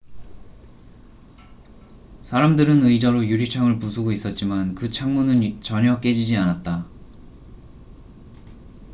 사람들은 의자로 유리창을 부수고 있었지만 그 창문은 전혀 깨지지 않았다